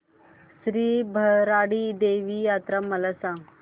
श्री भराडी देवी यात्रा मला सांग